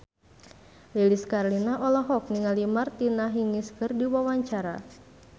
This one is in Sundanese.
Lilis Karlina olohok ningali Martina Hingis keur diwawancara